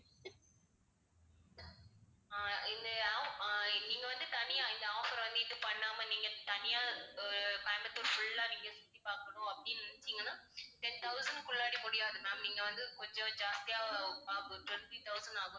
ஆஹ் இந்த off~ ஆஹ் நீங்க வந்து தனியா இந்த offer வாங்கிட்டு பண்ணாம நீங்கத் தனியா அஹ் கோயம்புத்தூர் full ஆ நீங்கச் சுத்தி பார்க்கணும் அப்படீன்னு நினைச்சீங்கன்னா ten thousand க்குள்ளாடி முடியாது ma'am. நீங்க வந்து கொஞ்சம் ஜாஸ்தியா அஹ் twenty thousand ஆகும்.